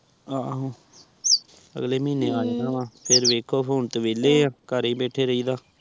ਆਹੋ ਅਗਲੇ ਮਹੀਨੇ ਆਊਗਾ ਫੇਰ ਵੇਖੋ ਹੁਣ ਤੇ ਵੇਹਲੇ ਆ ਘਰ ਏ ਬੈਠੀ ਰਹਿੰਦਾ